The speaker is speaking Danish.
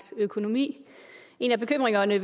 økonomi en af bekymringerne